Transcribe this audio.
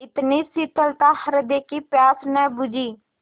इतनी शीतलता हृदय की प्यास न बुझी